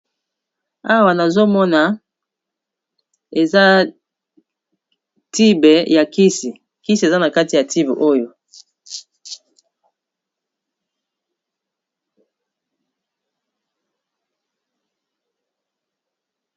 awa nazomona eza tibe ya kisi kisi eza na kati ya tibe oyo